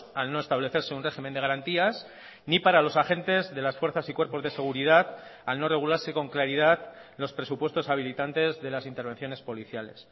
al no establecerse un régimen de garantías ni para los agentes de las fuerzas y cuerpos de seguridad al no regularse con claridad los presupuestos habilitantes de las intervenciones policiales